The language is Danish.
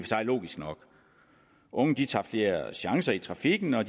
sig logisk nok unge tager flere chancer i trafikken og